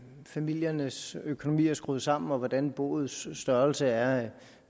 familiernes økonomi er skruet sammen og hvordan boets størrelse er